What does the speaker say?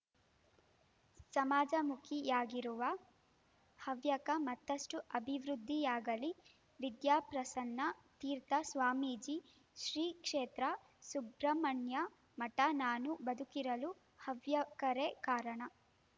ಸಮಾಜಮುಖಿಯಾಗಿರುವ ಹವ್ಯಕ ಮತ್ತಷ್ಟು ಅಭಿವೃದ್ಧಿಯಾಗಲಿ ವಿದ್ಯಾಪ್ರಸನ್ನ ತೀರ್ಥ ಸ್ವಾಮೀಜಿ ಶ್ರೀ ಕ್ಷೇತ್ರ ಸುಬ್ರಹ್ಮಣ್ಯ ಮಠ ನಾನು ಬದುಕಿರಲು ಹವ್ಯಕರೇ ಕಾರಣ